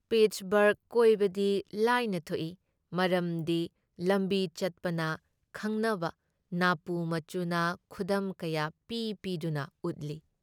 ꯄꯤꯠꯁꯕꯔꯒ ꯀꯣꯏꯕꯗꯤ ꯂꯥꯏꯅ ꯊꯣꯛꯏ ꯃꯔꯝꯗꯤ ꯂꯝꯕꯤꯆꯠꯄꯅ ꯈꯪꯅꯕ ꯅꯥꯄꯨ ꯃꯆꯨꯅ ꯈꯨꯗꯝ ꯀꯌꯥ ꯄꯤ ꯄꯤꯗꯨꯅ ꯎꯠꯂꯤ ꯫